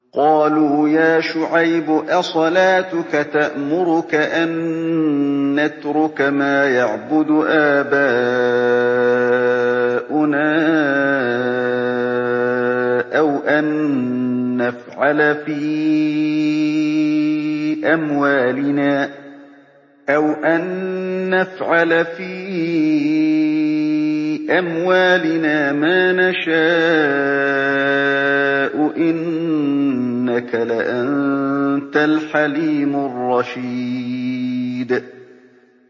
قَالُوا يَا شُعَيْبُ أَصَلَاتُكَ تَأْمُرُكَ أَن نَّتْرُكَ مَا يَعْبُدُ آبَاؤُنَا أَوْ أَن نَّفْعَلَ فِي أَمْوَالِنَا مَا نَشَاءُ ۖ إِنَّكَ لَأَنتَ الْحَلِيمُ الرَّشِيدُ